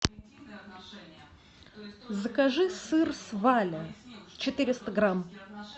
закажи сыр сваля четыреста грамм